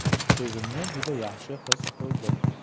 O‘zimni juda yaxshi his qildim.